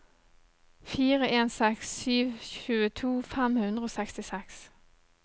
fire en seks sju tjueto fem hundre og sekstiseks